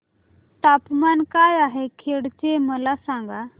तापमान काय आहे खेड चे मला सांगा